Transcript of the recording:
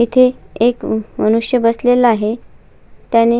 इथे एक म मनुष्य बसलेला आहे त्याने--